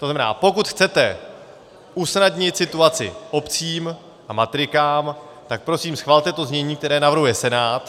To znamená, pokud chcete usnadnit situaci obcím a matrikám, tak prosím schvalte to znění, které navrhuje Senát.